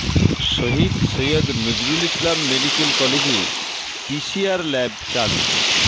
শহীদ Syed Nazrul Islam medical কলেজে PCR lab চালু